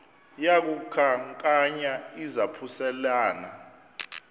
yaku khankanya izaphuselana